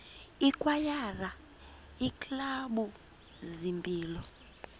ikwayara iiklabhu zempilo